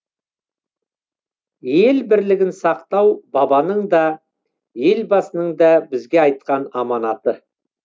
ел бірлігін сақтау бабаның да елбасының да бізге айтқан аманаты